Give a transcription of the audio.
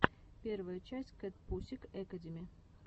первая часть кэтпусик экэдэми